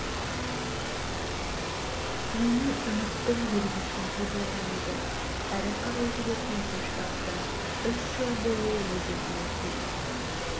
сүруімен үміттің белгісіндей болған еді әрі қарай жүретін күш таптым үш жыл бойы өз-өзіме келе